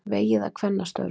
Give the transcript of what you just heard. Vegið að kvennastörfum